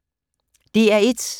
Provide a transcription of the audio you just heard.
DR1